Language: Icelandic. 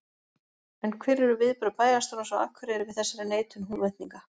En hver eru viðbrögð bæjarstjórans á Akureyri við þessari neitun Húnvetninga?